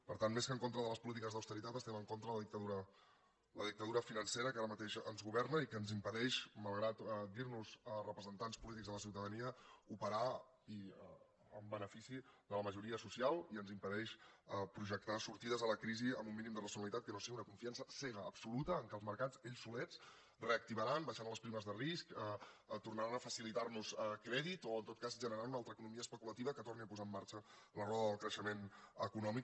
per tant més que en contra de les polítiques d’austeritat estem en contra de la dictadura financera que ara mateix ens governa i que ens impedeix malgrat dirnos representants polítics de la ciutadania operar en benefici de la majoria social i ens impedeix projectar sortides a la crisi amb un mínim de racionalitat que no sigui una confiança cega absoluta que els mercats ells solets reactivaran baixaran les primes de risc tornaran a facilitar nos crèdit o en tot cas generaran una altra economia especulativa que torni a posar en marxa la roda del creixement econòmic